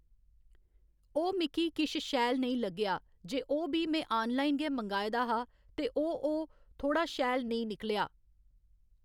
ओह् मिकी किश शैल नेईं लग्गेआ जे ओह् बी में आनलाइन गै मगांए दा हा ते ओह् ओह् थोह्‌ड़ा शैल नेईं निकलेआ